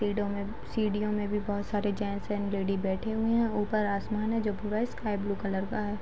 पेड़ो में सीढ़ियों में भी बहुत सारे जेंट्स एंड लेडी बैठे हुए हैं ऊपर आसमान है जो पूरा स्काई-ब्लू कलर का है।